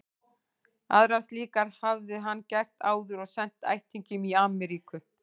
Aðrar slíkar hafði hann gert áður og sent ættingjum í Amríku.